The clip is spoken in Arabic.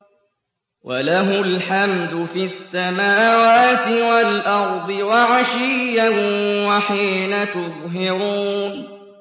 وَلَهُ الْحَمْدُ فِي السَّمَاوَاتِ وَالْأَرْضِ وَعَشِيًّا وَحِينَ تُظْهِرُونَ